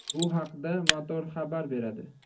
Bu haqda Motor xabar beradi .